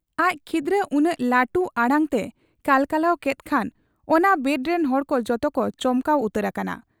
ᱟᱡ ᱠᱷᱤᱫᱽᱨᱟᱹ ᱩᱱᱟᱹᱜ ᱞᱟᱹᱴᱩ ᱟᱲᱟᱝᱛᱮ ᱠᱟᱞᱠᱟᱞᱟᱣ ᱠᱮᱫ ᱠᱷᱟᱱ ᱚᱱᱟ ᱣᱟᱰᱨᱤᱱ ᱦᱚᱲᱠᱚ ᱡᱚᱛᱚᱠᱚ ᱪᱚᱢᱠᱟᱣ ᱩᱛᱟᱹᱨ ᱟᱠᱟᱱᱟ ᱾